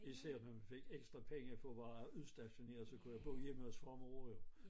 Især når vi fik ekstra penge for at være udstationeret så kunne jeg bo hjemme hos far og mor jo